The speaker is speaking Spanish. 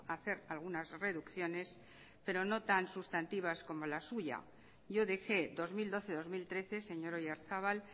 hacer algunas reducciones pero no tan sustantivas como la suya yo dejé dos mil doce dos mil trece señor oyarzabal